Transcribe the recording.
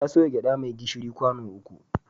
Ta soya gyaɗa mai gishiri kwano uku.